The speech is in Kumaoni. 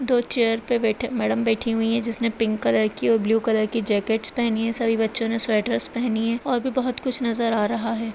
दो चेयर पे मैडम बैठी हुई है जिसने पिंक कलर की और ब्लू कलर की जैकिट पहनी है सभी बच्चों ने स्वेटरस पहनी है और भी बहोत कुछ नजर आ रहा है।